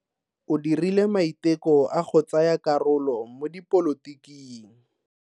O dirile maiteko a go tsaya karolo mo dipolotiking.